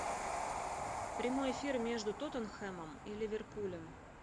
прямой эфир между тоттенхэмом и ливерпулем